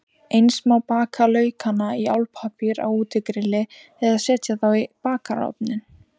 Eins má baka laukana í álpappír á útigrilli eða setja þá í bakarofninn.